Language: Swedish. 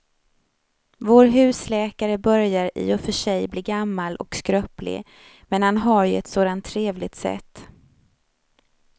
Vår husläkare börjar i och för sig bli gammal och skröplig, men han har ju ett sådant trevligt sätt!